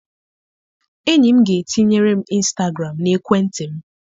Enyi m ga-etinyere m ịnstagram n'ekwentị m.